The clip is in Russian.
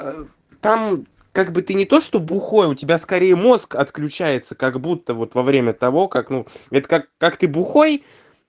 там как бы ты не то что бухой у тебя скорее мозг отключается как будто вот во время того как ну это как как ты бухой